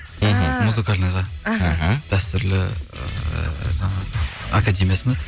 ііі музыкальныйға іхі дәстүрлі ыыы жаңағы академиясына